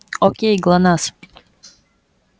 окей глонассс